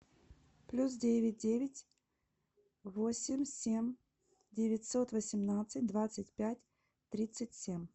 плюс девять девять восемь семь девятьсот восемнадцать двадцать пять тридцать семь